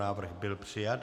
Návrh byl přijat.